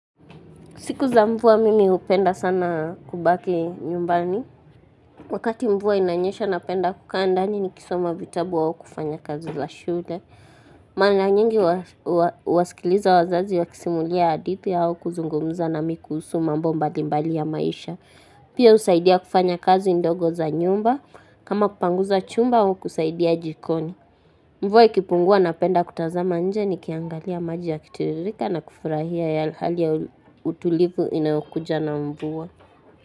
Siku za mvua mimi hupenda sana kubaki nyumbani. Wakati mvua inanyesha napenda kukaa ndani nikisoma vitabu au kufanya kazi za shule. Mara nyingi huwasikiliza wazazi wakisimulia hadithi au kuzungumza nami kuhusu mambo mbalimbali ya maisha. Pia husaidia kufanya kazi ndogo za nyumba. Kama kupanguza chumba au kusaidia jikoni. Mvua ikipungua napenda kutazama nje nikiangalia maji yakitiririka na kufurahia ya hali ya utulivu inayokuja na mvua.